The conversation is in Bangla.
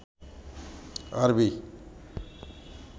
আরবি